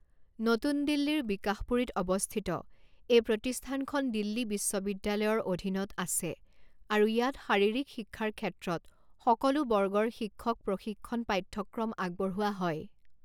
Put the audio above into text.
নতুন দিল্লীৰ বিকাশপুৰীত অৱস্থিত, এই প্ৰতিষ্ঠানখন দিল্লী বিশ্ববিদ্যালয়ৰ অধীনত আছে আৰু ইয়াত শাৰীৰিক শিক্ষাৰ ক্ষেত্ৰত সকলো বৰ্গৰ শিক্ষক প্ৰশিক্ষণ পাঠ্যক্ৰম আগবঢ়োৱা হয়।